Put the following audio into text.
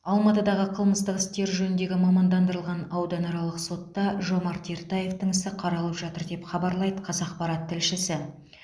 алматыдағы қылмыстық істер жөніндегі мамандандырылған ауданаралық сотта жомарт ертаевтың ісі қаралып жатыр деп хабарлайды қазақпарат тілшісі